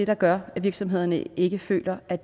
der gør at virksomhederne ikke føler at